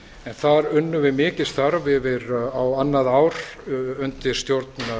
en þar unnum við mikið starf yfir á annað ár undir stjórn